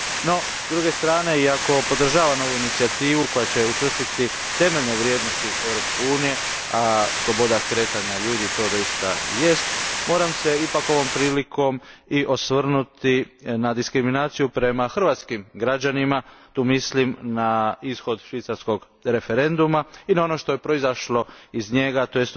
No, s druge strane iako podržavam ovu inicijativu koja će učvrstiti temeljne vrijednosti Europske unije, a sloboda kretanja ljudi to doista jest, ovom se prilikom ipak moram osvrnuti na diskriminaciju prema hrvatskim građanima tu mislim na ishod švicarskog referenduma i na ono što je proizašlo iz njega, tj.